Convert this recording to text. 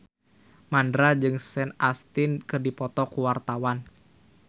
Mandra jeung Sean Astin keur dipoto ku wartawan